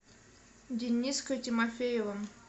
дениской тимофеевым